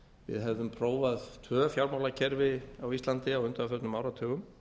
við hefðum prófað tvö fjármálakerfi á íslandi á undanförnum áratugum